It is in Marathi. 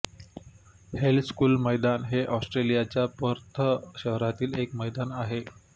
हेल स्कूल मैदान हे ऑस्ट्रेलियाच्या पर्थ शहरातील एक मैदान आहे